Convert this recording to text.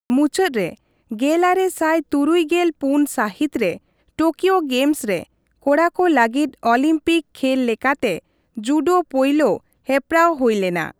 ᱢᱩᱪᱟᱹᱫ ᱨᱮ, ᱜᱮᱞᱟᱨᱮ ᱥᱟᱭ ᱛᱩᱨᱩᱭ ᱜᱮᱞ ᱯᱩᱱ ᱥᱟᱹᱦᱤᱛ ᱨᱮ ᱴᱳᱠᱤᱣᱳ ᱜᱮᱢᱥ ᱨᱮ ᱠᱚᱲᱟ ᱠᱚ ᱞᱟᱹᱜᱤᱫ ᱚᱞᱤᱢᱯᱤᱠ ᱠᱷᱮᱞ ᱞᱮᱠᱟᱛᱮ ᱡᱩᱰᱳ ᱯᱳᱭᱞᱳ ᱦᱮᱯᱮᱨᱟᱣ ᱦᱩᱭ ᱞᱮᱱᱟ ᱾